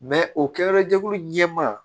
o kɛyɔrɔ jɛkulu ɲɛmaa